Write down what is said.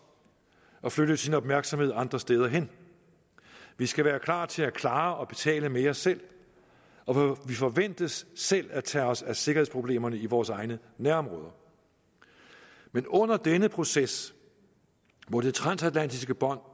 og flytte sin opmærksomhed andre steder hen vi skal være klar til at klare og betale mere selv og vi forventes selv at tage os af sikkerhedsproblemerne i vores egne nærområder men under denne proces må det transatlantiske bånd